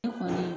Ne kɔni